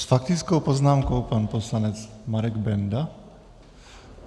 S faktickou poznámkou pan poslanec Marek Benda?